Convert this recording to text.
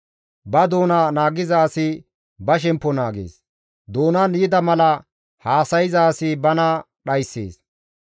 Ba doona naagiza asi ba shemppo naagees; doonan yida mala haasayza asi bana dhayssees.